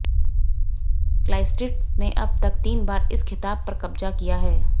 क्लाइस्र्ट्स ने अब तक तीन बार इस खिताब पर कब्जा किया है